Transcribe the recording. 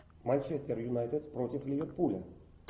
манчестер юнайтед против ливерпуля